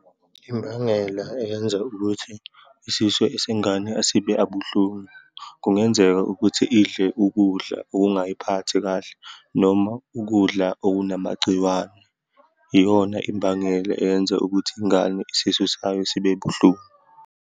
Imbangela eyenza ukuthi isiso esengane asibe abuhlungu. Kungenzeka ukuthi idle ukudla okungayiphathi kahle, noma ukudla okunamagciwane. Iyona imbangela eyenza ukuthi ingane isisu sayo sibe buhlungu.